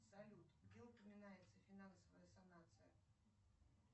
салют где упоминается финансовая санация